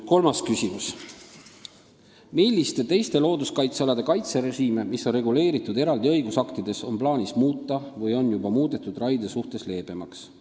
Kolmas küsimus: "Milliste teiste looduskaitsealade kaitserežiime, mis on reguleeritud eraldi õigusaktides, on plaanis muuta või on juba muudetud raie suhtes leebemaks?